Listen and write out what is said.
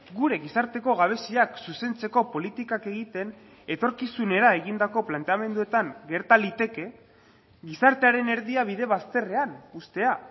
gure gizarteko gabeziak zuzentzeko politikak egiten etorkizunera egindako planteamenduetan gerta liteke gizartearen erdia bide bazterrean uztea